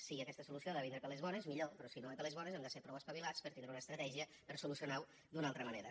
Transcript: si aquesta solució ha de vindre per les bones millor però si no ve per les bones hem de ser prou espavilats per tindre una estratègia per solucionar ho d’una altra manera